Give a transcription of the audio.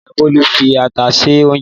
Ìyá Bólú fi ata se oúnjẹ.